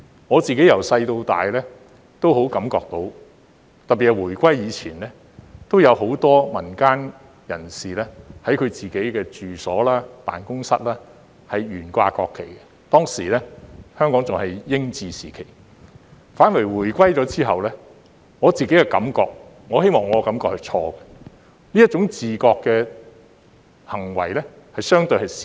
我自己從小到大也深感到，特別是回歸前，有很多民間人士在他們的住所和辦公室懸掛國旗，當時香港仍是英治時期，反而回歸後，我感覺——我希望我的感覺是錯的——這種自覺的行為反而減少。